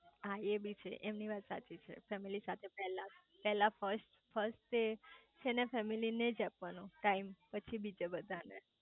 હા એ બી છે એમની વાત સાચી છે ફેમિલી સાથે પેલા પેલા ફસ્ટ છેને ફેમિલી નેજ આપવાનો ટાઈમે પછી બીજા બધા ને